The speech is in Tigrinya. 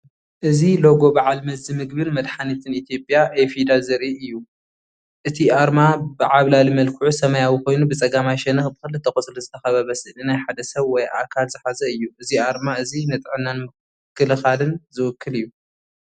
እዚ ሎጎ በዓል መዚ ምግብን መድሓኒትን ኢትዮጵያ (ኢፊዳ) ዘርኢ እዩ። እቲ ኣርማ ብዓብላሊ መልክዑ ሰማያዊ ኮይኑ ብጸጋማይ ሸነኽ ብኽልተ ቆጽሊ ዝተኸበበ ስእሊ ናይ ሓደ ሰብ ወይ ኣካል ዝሓዘ እዩ። እዚ ኣርማ እዚ ንጥዕናን ምክልኻልን ዝውክል እዩ።